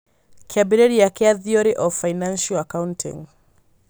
Kĩambĩrĩria kĩa Theory of Financial Accounting: